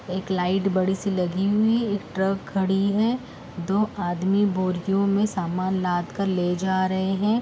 एक लाइट बड़ी सेी लगी हुई। एक ट्रक खड़ी है। दो आदमी बोरियों में सामान लादकर ले जा रहे हैं।